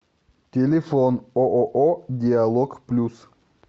телефон ооо диалог плюс